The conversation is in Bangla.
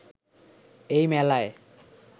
এই মেলায়